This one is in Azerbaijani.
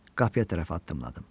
Qapıya tərəf addımladım.